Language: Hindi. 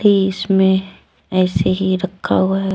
इसमें ऐसे ही रखा हुआ है।